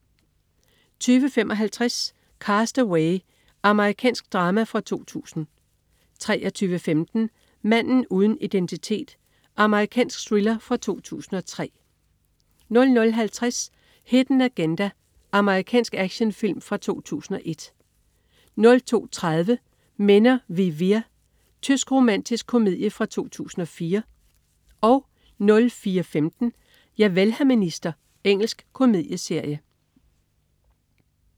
20.55 Cast Away. Amerikansk drama fra 2000 23.15 Manden uden identitet. Amerikansk thriller fra 2003 00.50 Hidden Agenda. Amerikansk actionfilm fra 2001 02.30 Männer wie wir. Tysk romantisk komedie fra 2004 04.15 Javel, hr. minister. Engelsk komedieserie